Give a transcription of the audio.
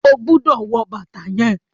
o gbódò wọ bàtá yén!